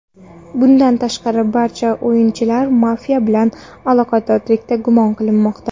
Bundan tashqari, barcha o‘yinchilar mafiya bilan aloqadorlikda gumon qilinmoqda.